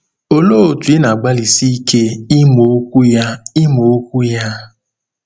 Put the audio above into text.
Olee otú ị na-agbalịsi ike ịmụ Okwu ya? ịmụ Okwu ya?